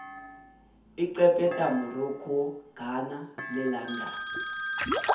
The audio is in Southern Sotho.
egepeta morocco ghana le london